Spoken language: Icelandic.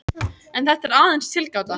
En þetta er aðeins tilgáta.